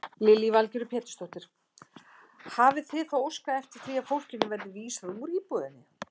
Lillý Valgerður Pétursdóttir: Hafið þið þá óskað eftir því að fólkinu verði vísað úr íbúðinni?